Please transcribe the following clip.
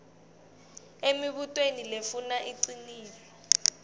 emibutweni lefuna liciniso